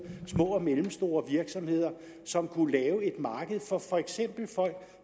små og mellemstore virksomheder som kunne lave et marked for for eksempel folk